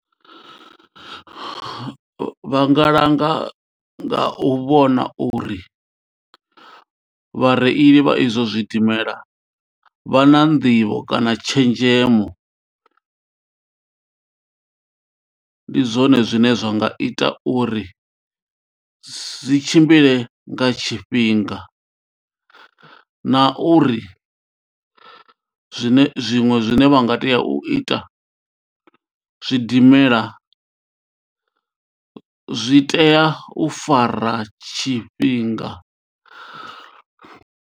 Vha nga langa nga u vhona uri vhareili vha izwo zwidimela vha na nḓivho kana tshenzhemo ndi zwone zwine zwa nga ita uri zwi tshimbile nga tshifhinga na uri zwine zwiṅwe zwine vha nga tea u ita zwidimela zwi tea u fara tshifhinga.